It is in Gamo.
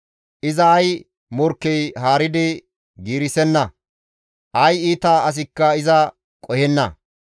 Iza ay morkkey haaridi giirisenna; ay iita asikka iza qohenna.